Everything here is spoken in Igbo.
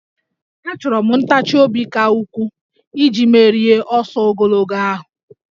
Achọrọ m ntachi obi ka ukwuu iji merie n'ọsọ ogologo ahụ